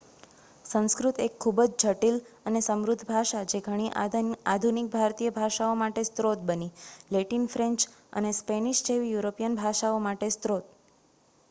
સંસ્કૃત એક ખૂબ જ જટિલ અને સમૃદ્ધ ભાષા, જે ઘણી આધુનિક ભારતીય ભાષાઓમાટે સ્ત્રોત બની, લેટિન ફ્રેન્ચ અને સ્પેનિશ જેવી યુરોપિયન ભાષાઓ માટે સ્રોત